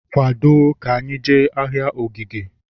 Kwado ka anyị jee ahịa Ogige!